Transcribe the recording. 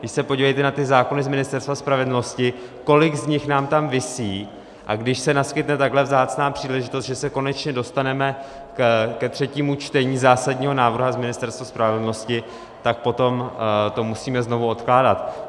Vždyť se podívejte na ty zákony z Ministerstva spravedlnosti, kolik z nich nám tam visí, a když se naskytne takhle vzácná příležitost, že se konečně dostaneme ke třetímu čtení zásadního návrhu z Ministerstva spravedlnosti, tak potom to musíme znovu odkládat.